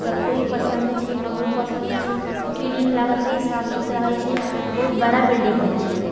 सब कोई पसंद छै हमरो पसंद छै क्लीन लागत हेय साफ सुथरा हेय छै बहुत बड़ा बिल्डिंग हेय छै।